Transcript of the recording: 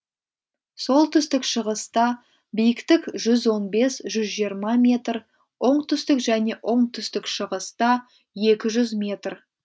солтүстік шығыста биіктік жүз он бес жүз жиырма м оңтүстік және оңтүстік шығыста екі жүз метр